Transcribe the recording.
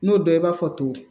N'o dɔ i b'a fɔ to